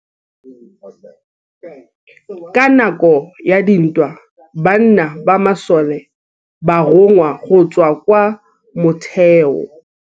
Ka nakô ya dintwa banna ba masole ba rongwa go tswa kwa mothêô.